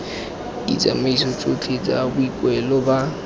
ditsamaiso tsotlhe tsa boikuelo ba